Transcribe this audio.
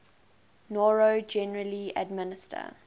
noro generally administer